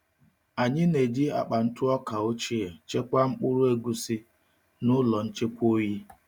Anyị na-eji akpa ntụ ọka ochie chekwaa mkpụrụ egusi n’ụlọ nchekwa oyi.